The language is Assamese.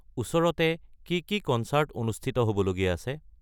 ওচৰতে কি কি কন্চাৰ্ট অনুষ্ঠিত হ'বলগীয়া আছে